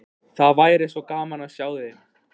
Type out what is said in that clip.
Það væri svo gaman að sjá þig.